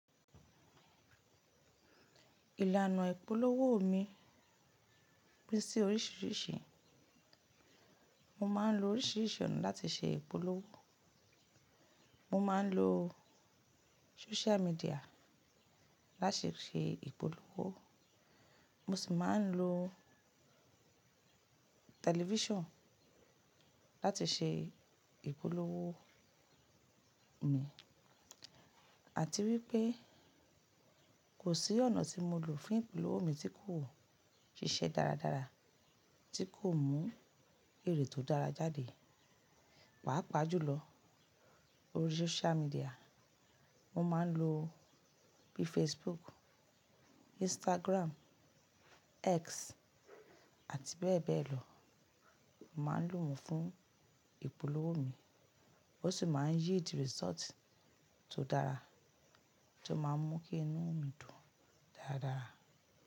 Ìlànà ìpolówó mi pín sí oríṣìíríṣìí. Mo máa ń lo oríṣìíríṣìí ọ̀nà láti ṣe ìpolówó. Mo máa ń lo social media láti ṣe ìpolówó, mo sì máa ń lo television láti ṣe ìpolówó mi. Àti wípé kò sí ọ̀nà tí mo lò fún ìpolówó mi tí kò ṣiṣẹ́ dáradára, tí kò mú èrè tó dára jáde. Pàápàá jùlọ orí social media, mo máa ń lo bí Facebook, Instagram, X àti bẹ́ẹ̀ bẹ́ẹ̀ lọ. Mo máa ń lò wọ́n fún ìpolówó mi, ó sì máa ń yíidi result tó dára, tó máa ń mú kí inú mi dùn dáradára.